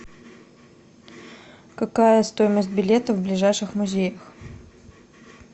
какая стоимость билета в ближайших музеях